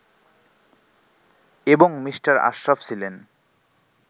এবং মি. আশরাফ ছিলেন